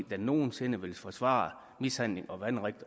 der nogen sinde vil forsvare mishandling og vanrøgt